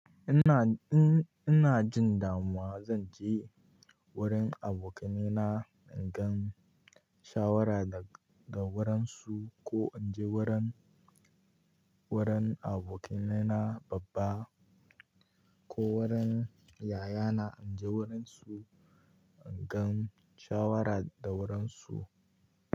Ina, in, ina jin damuwa zan je wurin abokanaina in gan shawara da ga wurinsu ko in je wurin, wurin abokaina babba ko wurin yayana. In je wurinsu in gan shawara da wurinsu.